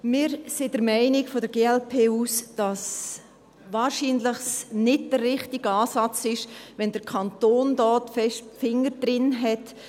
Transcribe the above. Wir von der glp sind der Meinung, dass es wahrscheinlich nicht der richtige Ansatz ist, wenn der Kanton hier seine Finger stark im Spiel hat.